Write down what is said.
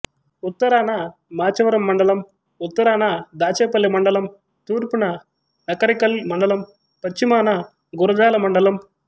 ఉత్తరాన మాచవరం మండలం ఉత్తరాన దాచేపల్లి మండలం తూర్పున నకరికల్ మండలం పశ్చిమాన గురజాల మండలం